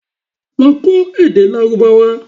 Lọ kọ́ èdè Lárúbáwá!